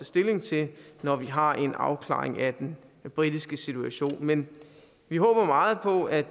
stilling til når vi har en afklaring af den britiske situation men vi håber meget på at